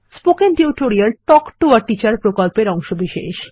spoken tutorial talk to a teacher প্রকল্পের অংশবিশেষ